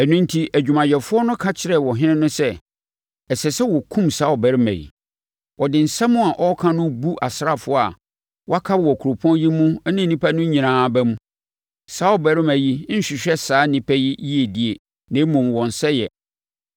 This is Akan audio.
Ɛno enti adwumayɛfoɔ no ka kyerɛɛ ɔhene no sɛ, “Ɛsɛ sɛ wɔkum saa ɔbarima yi. Ɔde nsɛm a ɔreka no bu asraafoɔ a wɔaka wɔ kuropɔn yi mu ne nnipa no nyinaa aba mu. Saa ɔbarima yi nhwehwɛ saa nnipa yi yiedie na mmom wɔn sɛeɛ.”